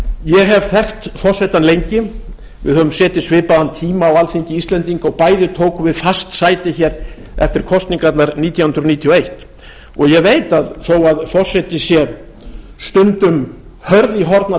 ég hef þekkt forsetann lengi við höfum setið svipaðan tíma á alþingi íslendinga og bæði tókum við fast sæti hér eftir kosningarnar nítján hundruð níutíu og eitt ég veit að þó að forseti sé stundum hörð í horn að